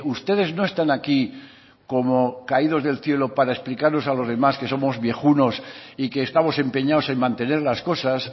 ustedes no están aquí como caídos del cielo para explicarnos a los demás que somos viejunos y que estamos empeñados en mantener las cosas